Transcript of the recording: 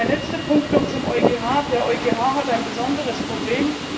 Ein letzter Punkt noch zum EuGH Der EuGH hat ein besonderes Problem.